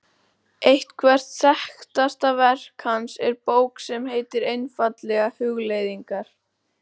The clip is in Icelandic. Eitthvert þekktasta verk hans er bók sem heitir einfaldlega Hugleiðingar.